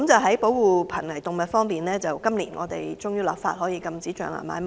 在保護瀕危動物方面，政府終於在今年落實立法禁止象牙買賣。